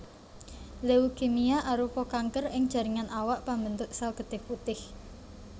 Leukemia arupa kanker ing jaringan awak pambentuk sel getih putih